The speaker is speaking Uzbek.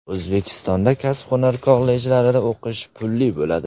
O‘zbekistonda kasb-hunar kollejlarida o‘qish pulli bo‘ladi.